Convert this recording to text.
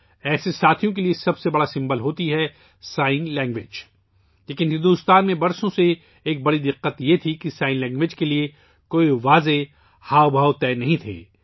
ایسے ساتھیوں کا سب سے بڑا سہارا اشاروں کی زبان ہے لیکن بھارت میں برسوں سے ایک بڑا مسئلہ یہ تھا کہ اشاروں کی زبان کے لئے کوئی واضح اشارے، کوئی معیار طے نہیں تھا